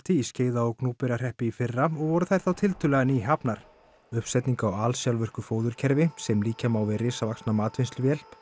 í Skeiða og Gnúpverjahreppi í fyrra og voru þær þá tiltölulega nýhafnar uppsetningu á alsjálfvirku fóðurkerfi sem líkja má við risavaxna matvinnsluvél